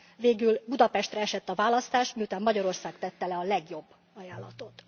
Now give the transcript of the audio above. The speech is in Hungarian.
Végül Budapestre esett a választás, miután Magyarország tette le a legjobb ajánlatot.